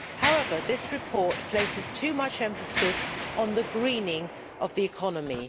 However, this report places too much emphasis on the greening of the economy.